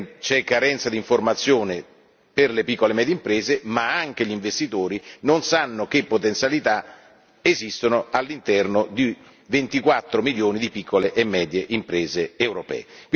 C'è carenza di informazione per le piccole e medie imprese ma neppure gli investitori sanno che potenzialità esistono all'interno di 24 milioni di piccole e medie imprese europee.